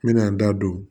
N bɛna n da don